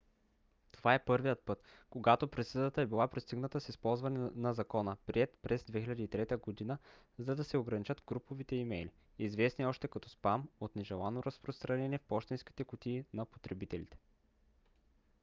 това е първият път когато присъдата е била постигната с използване на закона приет през 2003 г. за да се ограничат груповите имейли известни още като спам от нежелано разпространение в пощенските кутии на потребителите